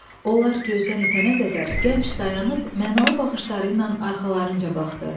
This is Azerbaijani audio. Onlar gözdən itənə qədər gənc dayanıb mənalı baxışları ilə arxalarınca baxdı.